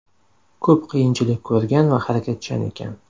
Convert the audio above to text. Ko‘p qiyinchilik ko‘rgan va harakatchan ekan.